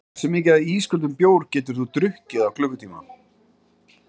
Hversu mikið af ísköldum bjór getur þú drukkið á klukkutíma?